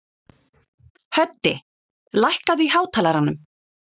Höddi, lækkaðu í hátalaranum.